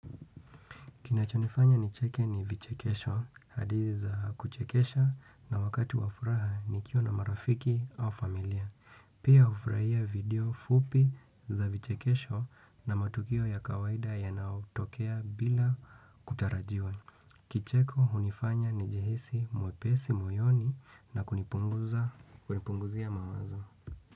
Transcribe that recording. Kinachonifanya ni cheke ni vichekesho, hadithi za kuchekesha na wakati wafuraha nikiwa na marafiki au familia. Pia hufuraia video fupi za vichekesho na matukio ya kawaida ya naotokea bila kutarajiwa. Kicheko hunifanya ni jihisi mwepesi moyoni na kunipunguzia mawazo.